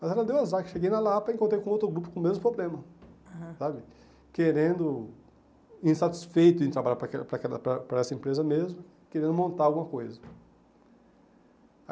Mas ela deu azar, que cheguei na Lapa e encontrei com outro grupo com o mesmo problema, aham, sabe, querendo, insatisfeito em trabalhar para para essa empresa mesmo, querendo montar alguma coisa.